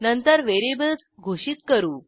नंतर व्हेरिएबल्स घोषित करू